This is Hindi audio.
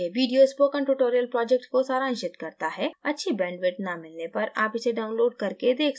यह video spoken tutorial project को सारांशित करता है अच्छी bandwidth न मिलने पर आप इसे download करके देख सकते हैं